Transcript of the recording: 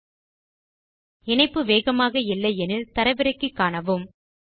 உங்கள் இணைப்பு வேகமாக இல்லை எனில் அதை தரவிறக்கி காணுங்கள்